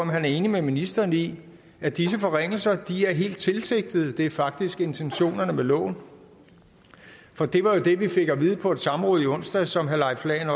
han er enig med ministeren i at disse forringelser er helt tilsigtede det faktisk er intentionerne med loven for det var jo det vi fik at vide på et samråd i onsdags som herre leif lahn